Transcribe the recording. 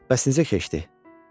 Bəs necə keçdi?